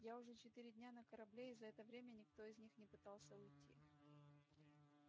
я уже четыре дня на корабле и за это время никто из них не пытался уйти